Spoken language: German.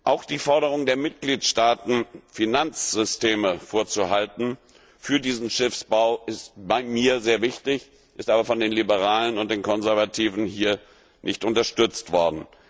Auch die Forderung der Mitgliedstaaten, Finanzsysteme vorzuhalten für diesen Schiffsbau, war mir sehr wichtig, ist aber von den Liberalen und den Konservativen hier nicht unterstützt worden.